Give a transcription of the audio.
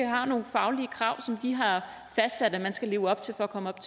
har nogle faglige krav som de har fastsat at man skal leve op til for at komme op